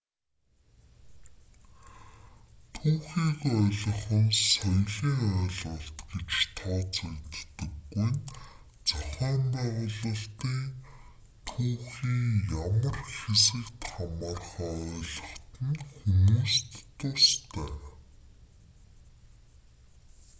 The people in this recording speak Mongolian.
түүхийг ойлгох нь соёлын ойлголт гэж тооцогддоггүй нь зохион байгуулалтын түүхийн ямар хэсэгт хамаарахаа ойлгоход нь хүмүүст тустай